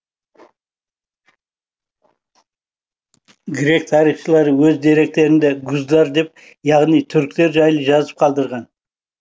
грек тарихшылары өз деректерінде гуздар деп яғни түріктер жайлы жазып қалдырған